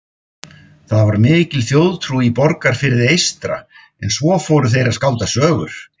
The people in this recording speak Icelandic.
Það var mikil þjóðtrú í Borgarfirði eystra en svo fóru þeir að skálda sögur.